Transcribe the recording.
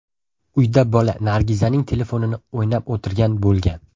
Uyda bola Nargizaning telefonini o‘ynab o‘tirgan bo‘lgan.